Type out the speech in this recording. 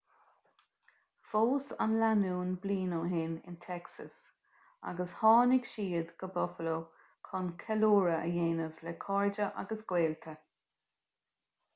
phós an lánúin bliain ó shin in texas agus tháinig siad go buffalo chun ceiliúradh a dhéanamh le cairde agus gaolta